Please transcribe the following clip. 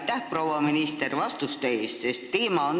Aitäh, proua minister, vastuste eest!